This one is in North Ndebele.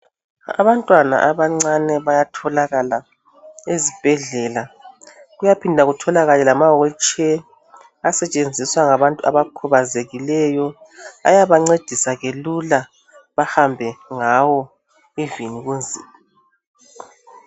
Abantwana abancane bayatholakala ezibhedlela. Kuyaphinda kutholakale lama wilitsheya asetshenziswa ngabantu abakhubazekileyo. Ayabancedisa ke lula bahambe ngawo ivini kunzima.